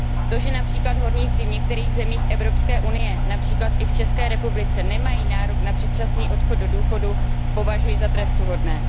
To, že například horníci v některých zemích Evropské unie, například i v České republice, nemají nárok na předčasný odchod do důchodu, považuji za trestuhodné.